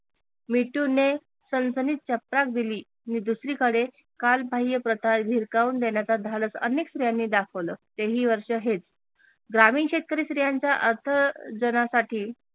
मिटूने सणसणीत चपराक दिली नी दुसरीकडे कालबाह्य प्रकार धिरकावुन देण्याच धाडस अनेक स्त्रियांनी दाखवल ते ही वर्ष हेच ग्रामीण शेतकरी स्त्रियांच्या अर्थ जणासाठी